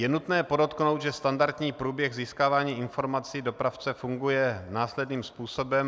Je nutné podotknout, že standardní průběh získávání informací dopravce funguje následným způsobem.